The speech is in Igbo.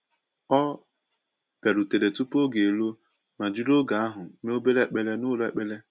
O bịarutere tupu oge eruo ma jiri oge ahụ mee obere ekpere n’ụlọ ekpere.